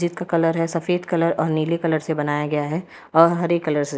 Gate का colour है सफेद कलर और नीले कलर से बनाया गया है और हरे कलर से।